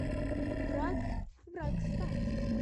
враг врагстар